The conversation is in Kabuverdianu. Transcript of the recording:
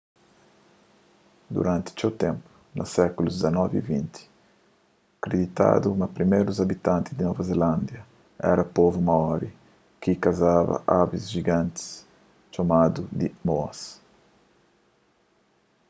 duranti txeu ténpu na sékulus xix y xx kriditadu ma primérus abitanti di nova zilándia éra povu maori ki ta kasaba avis jiganti txomadu di moas